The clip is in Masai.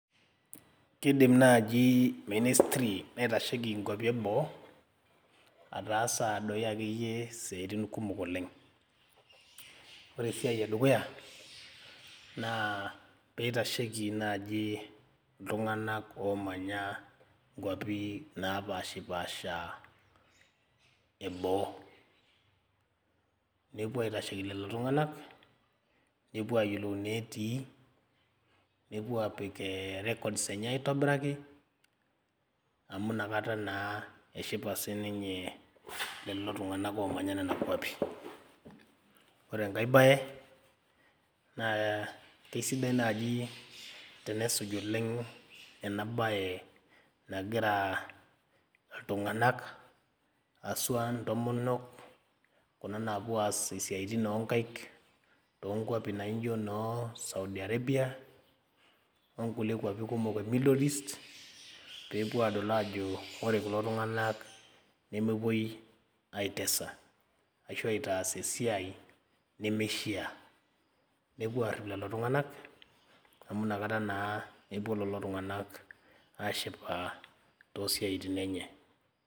Kidim naaji ministry naitasheki inkuapi eboo ataasa doi akeyie isiaitin kumok oleng ore esiai edukuya naa peitasheki naaji iltung'anak omanya inkuapi napashipasha eboo nepuo aitasheiki lelo tung'anak nepuo ayiolou inetii nepuo apik eh records enye aitobiraki amu inakata naa eshipa sininye lelo tung'anak omanya nena kuapi ore enkae baye naa keisidai naaji tenesuj oleng ena baye nagira aa iltung'anak asua intomonok kuna napuo aas isiaitin onkaik tonkuapi naijo noo Saudi arabia onkulie kuapi kumok e middle east pepuo adol ajo re kulo tung'anak nemepuoi aitesa ashu aitaas esiai nemeishia nepuo arrip lelo tung'anak amu inakata naa epuo lelo tung'anak ashipa tosiaitin enye.